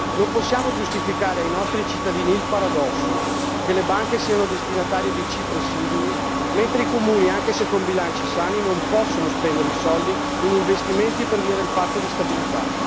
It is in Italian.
Non possiamo giustificare ai nostri cittadini il paradosso che le banche siano destinatarie di cifre simili, mentre i comuni, anche se con bilanci sani, non possono spendere i soldi in investimenti per via del patto di stabilità.